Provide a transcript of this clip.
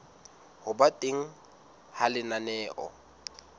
ho ba teng ha lenaneo